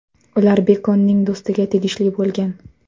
Ular Bekonning do‘stiga tegishli bo‘lgan.